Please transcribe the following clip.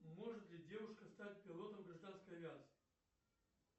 может ли девушка стать пилотом гражданской авиации